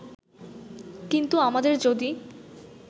কিন্তু আমাদের যদি